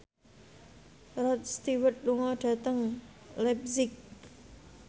Rod Stewart lunga dhateng leipzig